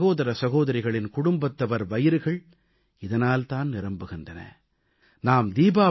நமது ஏழை சகோதர சகோதரிகளின் குடும்பத்தவர் வயிறுகள் இதனால் தான் நிரம்புகின்றன